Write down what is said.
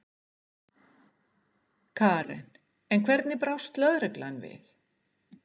Karen: En hvernig brást lögreglan við?